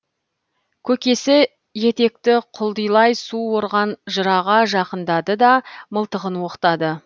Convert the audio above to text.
көкесі етекті құлдилай су орған жыраға жақындады да мылтығын оқтады